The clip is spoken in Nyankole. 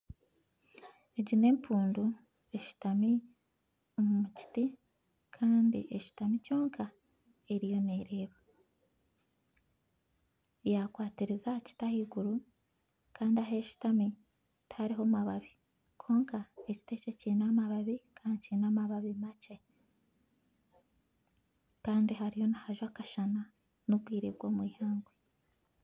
Egi n'empundu eshutami omu kiti Kandi teshutamire kyonka eriyo nereeba yakwatiriza ahakiti ahaiguru Kandi aheshutami tihariho mababi kwonka ekiti ekyo kyine amababi makye Kandi hariyo nihajwa akasana nobwire bwomwihangwe